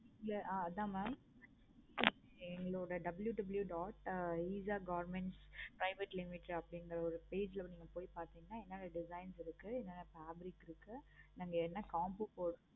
ஆஹ் அதான் mam எங்களுடைய WWW dot eesha government private limited அப்படினுங்கிற ஒரு page ல நீங்க வந்து என்னென்ன designs இருக்கு. என்னென்னா fabrics இருக்கு. நாங்க என்ன combo போட்டிருக்கோம்.